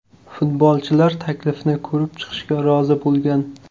Futbolchilar taklifni ko‘rib chiqishga rozi bo‘lgan.